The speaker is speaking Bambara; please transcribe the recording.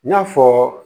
N y'a fɔ